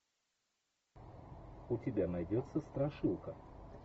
у тебя найдется страшилка